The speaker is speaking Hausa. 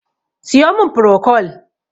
siyo min prokol!